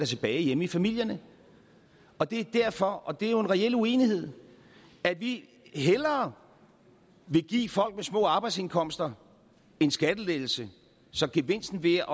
tilbage hjemme i familierne og det er derfor og det er jo en reel uenighed at vi hellere vil give folk med små arbejdsindkomster en skattelettelse så gevinsten ved